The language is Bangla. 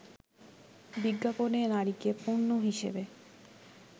বিজ্ঞাপনে নারীকে পণ্য হিসেবে